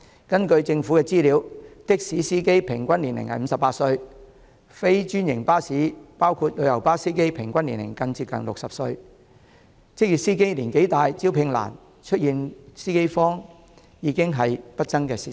根據政府的資料，的士司機的平均年齡為58歲，非專營巴士包括旅遊巴司機的平均年齡更接近60歲。職業司機年齡大、招聘難，出現"司機荒"已經是不爭的事實。